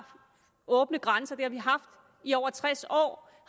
åbne grænser i over tres år